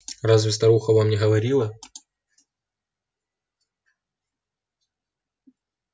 разве старуха вам не говорила